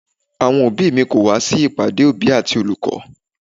Àwọn òbí mi kò wá sí ìpàdé òbí àti olùkọ́.